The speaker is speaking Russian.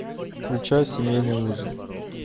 включай семейные узы